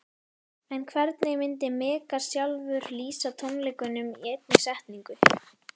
En hvernig myndi Megas sjálfur lýsa tónleikunum í einni setningu?